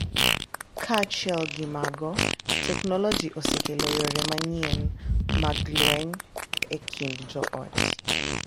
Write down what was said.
Kaachiel gi mago, teknoloji osekelo yore manyien mag lweny e kind joot,